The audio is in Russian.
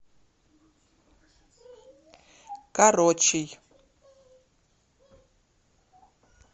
корочей